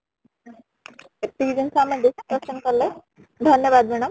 ଏତିକି ଜିନିଷ ଆମେ discussion କଲେ , ଧନ୍ୟବାଦ madam